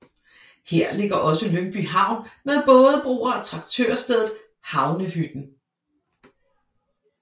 Her ligger også Lyngby Havn med bådebroer og traktørstedet Havnehytten